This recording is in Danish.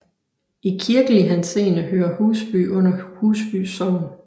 I kirkelig henseende hører Husby under Husby Sogn